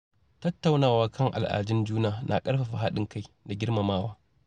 Tattaunawa kan al’adun juna na ƙarfafa haɗin kai da girmamawa.